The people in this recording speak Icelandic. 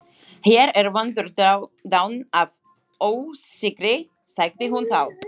Hér er vondur daunn af ósigri, sagði hún þá.